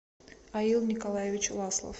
алил николаевич ласлов